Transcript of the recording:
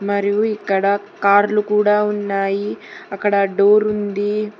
మరియు ఇక్కడ కార్లు కూడా ఉన్నాయి. అక్కడ డోర్ ఉంది.